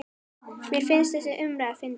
Mér finnst þessi umræða fyndin.